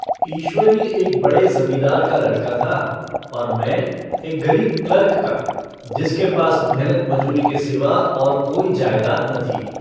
ईश्वरी एक बड़े जमींदार का लड़का था और मै एक गरीब क्लर्क का जिसके पास मेहनत-मजूरी के सिवा और कोई जायदाद न थी।